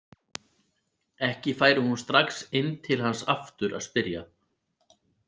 Ekki færi hún strax inn til hans aftur að spyrja.